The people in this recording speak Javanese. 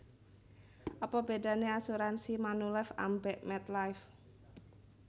Apa bedane asuransi Manulife ambek MetLife